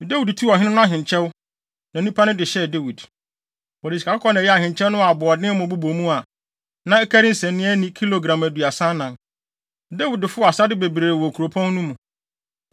Dawid tuu ɔhene no ahenkyɛw, na nnipa no de hyɛɛ Dawid. Wɔde sikakɔkɔɔ na ɛyɛɛ ahenkyɛw no a aboɔdenmmo bobɔ mu a, na ɛkari nsania ani kilogram aduasa anan. Dawid fow asade bebree wɔ kuropɔn no mu.